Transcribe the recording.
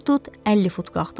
Vur tut 50 fut qalxdıq.